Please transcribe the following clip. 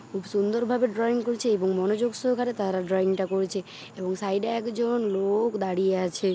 খুব সুন্দর ভাবে ড্রয়িং করেছে | এবং মনোযোগ সহকারে তারা ড্রয়িং ] টা করেছে | এবং সাইডে এক জন লোক দাঁড়িয়ে আছে।